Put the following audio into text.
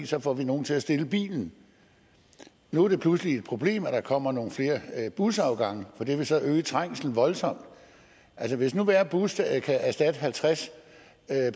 så får vi nogle til at stille bilen nu er det pludselig et problem at der kommer nogle flere busafgange for det vil så øge trængslen voldsomt hvis nu hver bus kan erstatte halvtreds